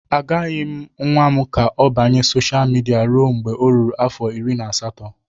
Agaghị m nwa m ka ọ banye sosha midia ruo mgbe ọ ruru afọ iri na asatọ